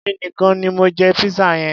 Èmi nìkan ni mo jẹ pizza yẹn.